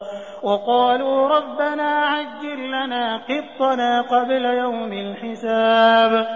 وَقَالُوا رَبَّنَا عَجِّل لَّنَا قِطَّنَا قَبْلَ يَوْمِ الْحِسَابِ